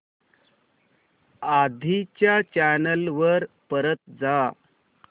आधी च्या चॅनल वर परत जा